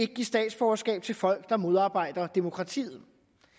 give statsborgerskab til folk der modarbejder demokratiet